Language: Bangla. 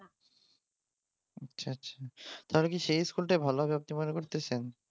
আচ্ছা আচ্ছা তাহলে কি সেই স্কুলটাই ভালো হবে আপনি মনে করতেছেন?